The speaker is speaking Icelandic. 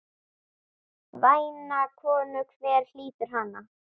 Væna konu, hver hlýtur hana?